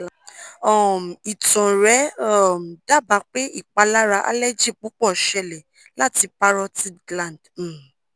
um itan rẹ um daba pe ipalara allergy pupo sele lati parotid gland um